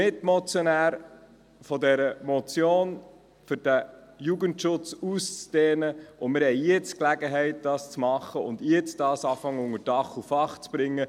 Drittens: Ich bin Mitmotionär der Motion zur Ausdehnung des Jugendschutzes, und wir haben jetzt die Gelegenheit, dies zu machen und jetzt schon unter Dach und Fach zu bringen.